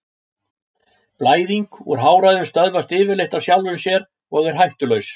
Blæðing úr háræðum stöðvast yfirleitt af sjálfu sér og er hættulaus.